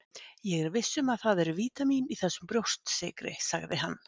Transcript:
Ég er viss um að það eru vítamín í þessum brjóstsykri, sagði hann.